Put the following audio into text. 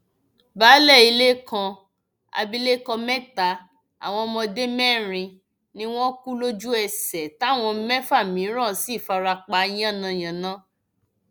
baálé ilé kan abilékọ mẹta àwọn ọmọdé mẹrin ni wọn kù lójúẹsẹ táwọn mẹfà mìíràn sì fara pa yánnayànna